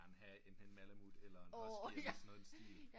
Have en mandemut eller en husky eller noget i den stil